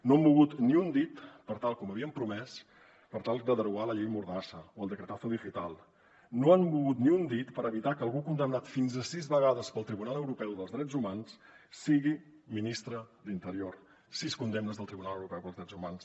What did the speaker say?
no han mogut ni un dit com havien promès per tal de derogar la llei mordassa o el decretazo algú condemnat fins a sis vegades pel tribunal europeu dels drets humans sigui ministre d’interior sis condemnes del tribunal europeu per als drets humans